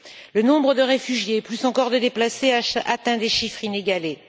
Le nombre de réfugiés, plus encore de déplacés, atteint des chiffres inégalés.